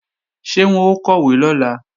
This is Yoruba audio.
Ṣé wọn ó kọ̀wé lọ́la?